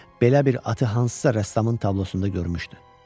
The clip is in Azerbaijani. Belə bir atı hansısa rəssamın tablosunda görmüşdü.